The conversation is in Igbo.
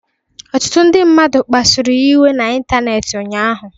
Ọtụtụ ndị mmadụ kpasụrụ ya iwe n'ịntanetị ụnyaahụ.